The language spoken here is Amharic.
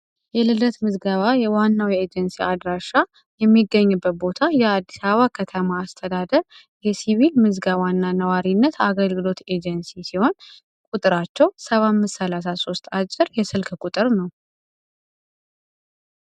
የልደት ምዝገባ ዋናዉ የኤጀንሲ አድራሻ የሚገኝበት ቦታ የአዲስ አበባ ከተማ አስተዳደር የሲቪክ ምዝገባና ነዋሪነት አገልግሎት ኤጀንሲ ሲሆን ቁጥራቸዉ 7533 አጭር የስልክ ቁጥር ነዉ።